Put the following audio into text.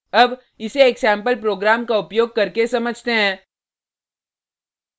अब इसे एक सेम्पल प्रोग्राम का उपयोग करके समझते हैं